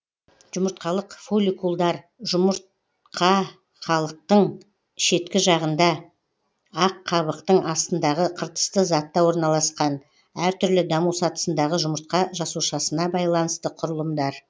жұмыртқалық фолликулдар жұмырт қалықтың шеткі жағында ақ қабықтың астындағы қыртысты затта орналасқан әртүрлі даму сатысындағы жұмыртқа жасушасына байланысты құрылымдар